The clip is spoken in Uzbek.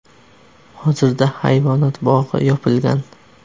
Hozirda hayvonot bog‘i yopilgan.